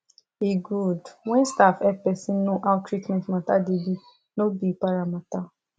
e good when staff hep persin know how treatment matter da be no be para matter